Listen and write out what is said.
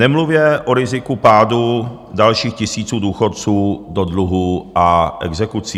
Nemluvě o riziku pádu dalších tisíců důchodců do dluhů a exekucí.